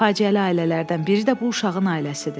Faciəli ailələrdən biri də bu uşağın ailəsidir.